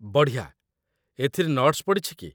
ବଢ଼ିଆ! ଏଥିରେ ନଟ୍‌ସ୍‌ ପଡ଼ିଛି କି?